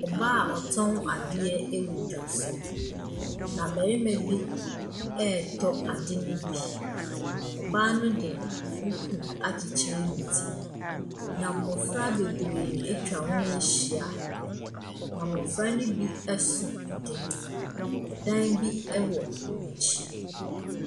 Mmaa a wɔtɔn adeɛ wɔ dwa so. Na barima bi ɛretɔ ade ne bi. Ɔbaa ne de duku akyekyere ne ti. Na mmɔfra bebree atwa wɔn ho ahyia, na mmɔfra ne bi so ade. Na dan bi wɔ wɔn akyi.